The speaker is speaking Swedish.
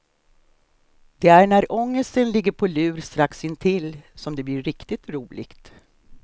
Det är när ångesten ligger på lur strax intill som det blir riktigt roligt.